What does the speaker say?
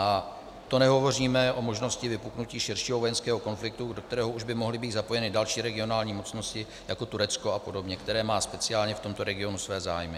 A to nehovoříme o možnosti vypuknutí širšího vojenského konfliktu, do kterého už by mohly být zapojeny další regionální mocnosti, jako Turecko a podobně, které má speciálně v tomto regionu své zájmy.